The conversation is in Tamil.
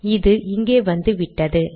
இது இங்கே வந்துவிட்டது